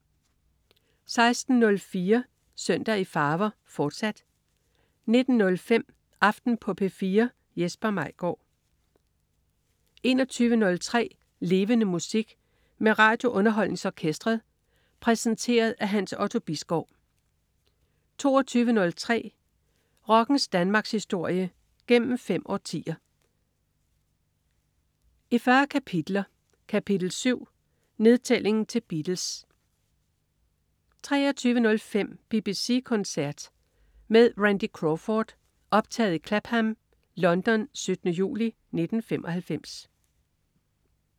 16.04 Søndag i farver, fortsat 19.05 Aften på P4. Jesper Maigaard 21.03 Levende Musik. Med RadioUnderholdningsOrkestret. Præsenteret af Hans Otto Bisgaard 22.03 Rockens Danmarkshistorie, gennem fem årtier, i 40 kapitler. Kapitel 7: Nedtælling til Beatles 23.05 BBC koncert med Randy Crawford. Optaget i Clapham, London 17. juli 1995